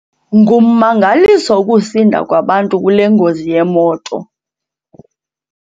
Ngummangaliso ukusinda kwabantu kule ngozi yemoto.